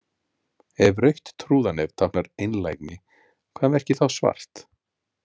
Ef rautt trúðanef táknar einlægni, hvað merkir þá svart?